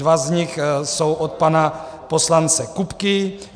Dva z nich jsou od pana poslance Kupky.